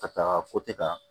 Ka taa kan